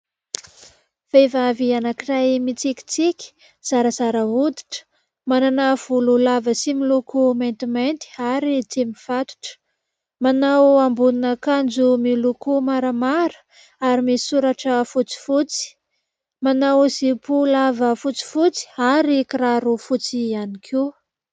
Vehivavy anankiray mitsikitsiky, zarazara hoditra, manana volo lava sy miloko maintimainty ary tsy mifatotra. Manao ambonin'akanjo miloko maramara ary misy soratra fotsifotsy. Manao zipo lava fotsifotsy ary kiraro fotsy ihany koa.